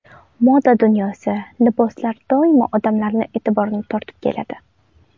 Moda dunyosi, liboslar doimo odamlar e’tiborini tortib keladi.